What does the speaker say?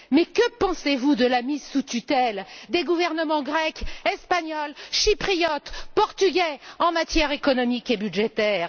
Mais que pensez vous de la mise sous tutelle des gouvernements grec, espagnol, chypriote, portugais, en matière économique et budgétaire?